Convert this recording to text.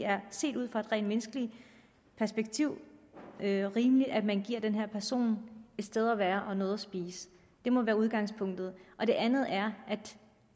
set ud fra et rent menneskeligt perspektiv er rimeligt at vi giver den her person et sted at være og noget at spise det må være udgangspunktet det andet er at